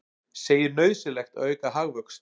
Segir nauðsynlegt að auka hagvöxt